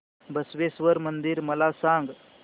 बसवेश्वर मंदिर मला सांग